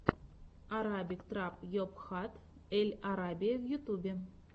арабик трап йобхат эль арабия в ютюбе